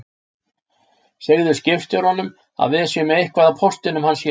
Segðu skipstjóranum að við séum með eitthvað af póstinum hans hérna